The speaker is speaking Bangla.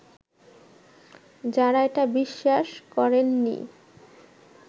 যারা এটা বিশ্বাস করেননি